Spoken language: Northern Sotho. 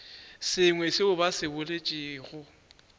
sengwe seo ba se boletšego